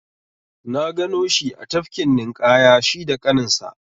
Na gano shi a tafkin ninƙaya shi da ƙaninsa.